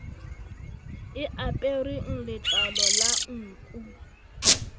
e apereng letlalo la nku